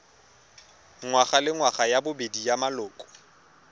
ngwagalengwaga ya bobedi ya maloko